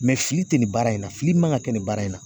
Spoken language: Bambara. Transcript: Mɛ fili te nin baara in na fili man kan ka kɛ nin baara in na